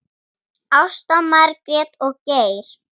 Ásta, Margrét og Geir.